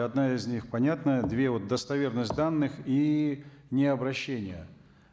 одна из них понятная две вот достоверность данных и необрощение